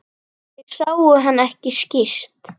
Þeir sáu hann ekki skýrt.